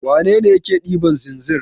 Wane ne yake ɗiban zinzre?